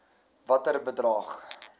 watter bedrag